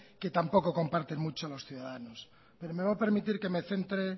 que tampoco comparten mucho los ciudadanos me va a permitir que me centre